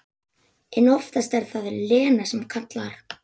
En oftast er það Lena sem kallar.